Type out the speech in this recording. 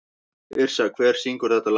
Yrsa, hver syngur þetta lag?